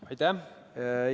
Aitäh!